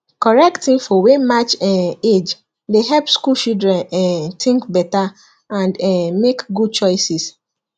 correct info wey match um age dey help school children um think better and um make good choices